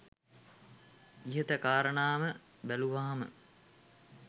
ඉහත කාරණා ම බැලුවහම